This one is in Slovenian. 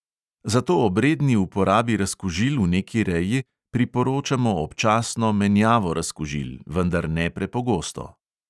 Zato ob redni uporabi razkužil v neki reji priporočamo občasno menjavo razkužil, vendar ne prepogosto.